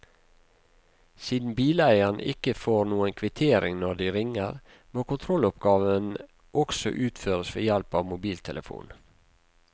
Siden bileieren ikke får noen kvittering når de ringer, må kontrolloppgaven også utføres ved hjelp av mobiltelefon.